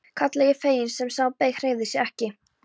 kallaði ég fegin en sá sem beið hreyfði sig ekki.